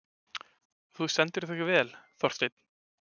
Þú stendur þig vel, Þorsteinn!